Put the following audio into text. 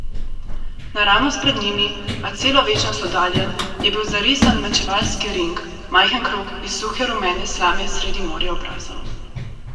Naravnost pred njimi, a celo večnost oddaljen, je bil zarisan mečevalski ring, majhen krog iz suhe rumene slame sredi morja obrazov.